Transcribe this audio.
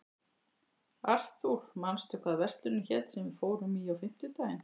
Arthur, manstu hvað verslunin hét sem við fórum í á fimmtudaginn?